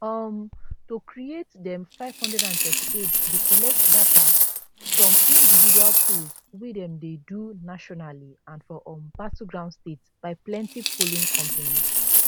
um to create dem 538 dey collect data from individual polls wey dem dey do nationally and for um battleground states by plenti polling companies